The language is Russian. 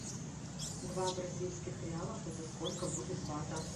два бразильских реалов это сколько будет бата